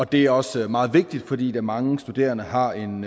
det er også meget vigtigt fordi mange studerende har en